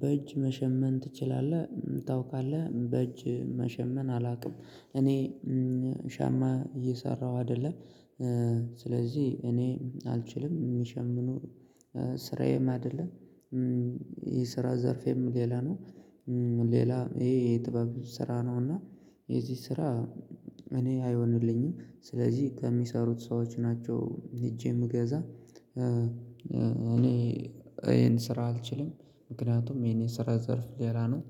በእጅ መሸመን ትችላለህ? ታውቃለህ በእጅ መሸመን አላውቅም። እኔ ሻማ እየሰራሁ አይደለም። ስለዚህ እኔ አልችልም የሚሸምኑ ስራዬም አይደለም። የስራ ዘርፌም ሌላ ነው። ሌላ ይሄ ጥበብ ስራ ነው። እና የዚህ ስራ እኔ አይሆንልኝም ስለዚህ ከሚሰሩት ሰዎች ናቸው ሂጄ ምገዛ። እኔ ይሄን ስራ አልችልም። ምክንያቱም የኔ ስራ ዘርፍ ሌላ ነው።